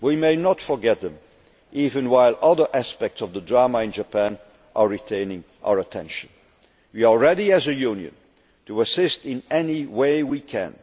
We must not forget them, even while other aspects of the drama in Japan are retaining our attention. We are ready as a Union to assist in any way